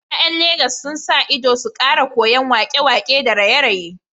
’Ya’yan Legas sun sa ido su kara koyan wake-wake da raye-raye